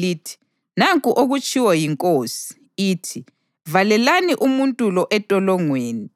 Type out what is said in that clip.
lithi: ‘Nanku okutshiwo yinkosi, ithi: Valelani umuntu lo entolongweni,